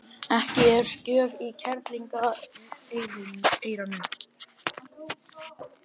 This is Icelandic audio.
Ekki er gjöf í kerlingareyranu.